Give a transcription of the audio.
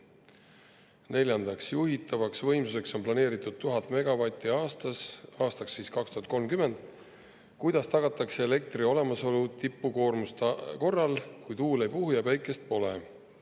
Neljandaks, kui juhitavaks võimsuseks on aastaks 2030 planeeritud 1000 megavatti aastas, siis kuidas tagatakse elektri olemasolu tipukoormuste korral, kui tuul ei puhu ja päike ei paista?